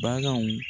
Baganw